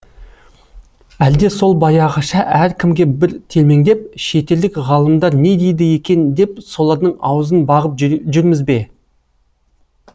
әлде сол баяғыша әркімге бір телмеңдеп шетелдік ғалымдар не дейді екен деп солардың аузын бағып жүрміз бе